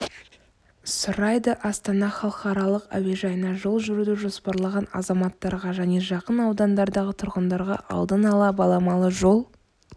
сұрайды астана халықаралық әуежайына жол жүруді жоспарлаған азаматтарға және жақын аудандардағы тұрғындарға алдын-ала баламалы жол